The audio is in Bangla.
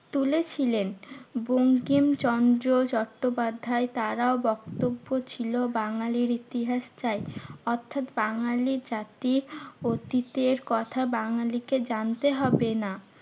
তুলেছিলেন। বঙ্কিমচন্দ্র চট্টোপাধ্যায় তারাও বক্তব্য ছিল বাঙালির ইতিহাস চাই অর্থাৎ বাঙালি জাতি অতীতের কথা বাঙালিকে জানতে হবে না।